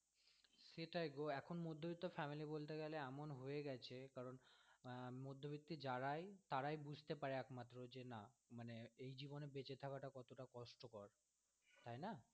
সেটাই গো এখন মধ্যবিত্ত fanily বলতে গেলে এমন হয়ে গেছে কারণ আহ মধ্যবিত্তি যারাই তারাই বুঝতে পারে একমাত্র যে না মানে এই জীবনে বেচে থাকা কত কষ্টকর। তাই না।